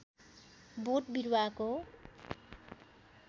बोट बिरूवाको